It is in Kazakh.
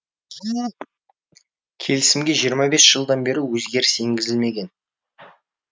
келісімге жиырма бес жылдан бері өзгеріс енгізілмеген